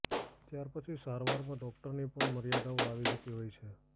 ત્યાર પછી સારવારમાં ડોક્ટરની પણ મર્યાદાઓ આવી જતી હોય છે